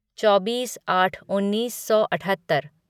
चौबीस आठ उन्नीस सौ अठहत्तर